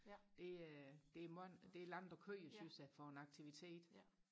det øh det langt og køre synes jeg for en aktivitet